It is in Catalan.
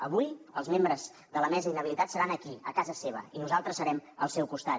avui els membres de la mesa inhabilitats seran aquí a casa seva i nosaltres serem al seu costat